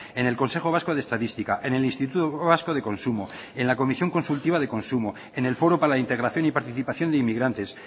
en el consejo vasco de estadística en el instituto vasco de consumo en la comisión consultiva de consumo en el foro para la integración y participación de inmigrantes